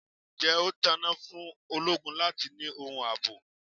Ǹjẹ́ ó tán náà fún ológun láti ni ohun ààbò?